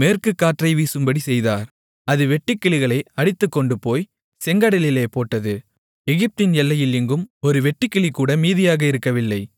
மேற்குக்காற்றை வீசும்படிச் செய்தார் அது வெட்டுக்கிளிகளை அடித்துக்கொண்டுபோய் செங்கடலிலே போட்டது எகிப்தின் எல்லையில் எங்கும் ஒரு வெட்டுக்கிளிகூட மீதியாக இருக்கவில்லை